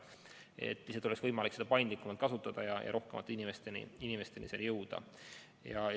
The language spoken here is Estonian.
Lihtsalt vaktsiini peab olema võimalik paindlikult kasutada, et rohkemate inimesteni jõuda.